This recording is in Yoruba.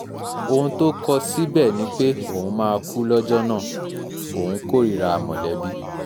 ohun tó kọ síbẹ̀ ni pé òun máa kú lọ́jọ́ náà òun kórìíra mọ̀lẹ́bí